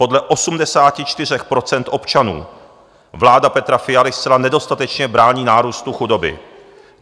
Podle 84 % občanů vláda Petra Fialy zcela nedostatečně brání nárůstu chudoby.